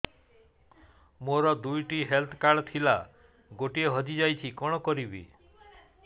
ମୋର ଦୁଇଟି health card ଥିଲା ଗୋଟିଏ ହଜି ଯାଇଛି କଣ କରିବି